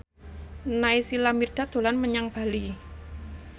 Naysila Mirdad dolan menyang Bali